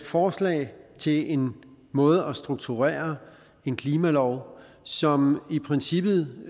forslag til en måde at strukturere en klimalov som i princippet